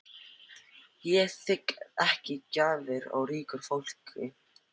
Ég þigg ekki gjafir af ríku fólki.